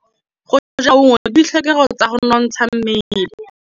Go ja maungo ke ditlhokegô tsa go nontsha mmele.